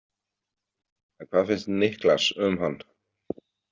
En hvað finnst Niklas um hann?